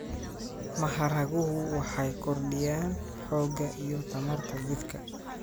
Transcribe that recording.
Maharaguhu waxay kordhiyaan xoogga iyo tamarta jidhka.